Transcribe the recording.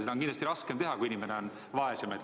Seda on kindlasti raskem teha, kui inimene on vaesem.